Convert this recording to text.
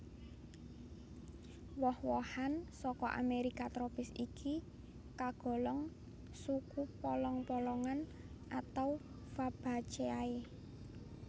Woh wohan saka Amerika tropis iki kagolong suku polong polongan atau Fabaceae